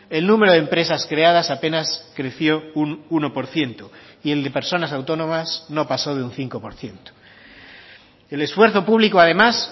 el número de empresas creadas apenas creció un uno por ciento y el de personas autónomas no pasó de un cinco por ciento el esfuerzo público además